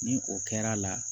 Ni o kɛr'a la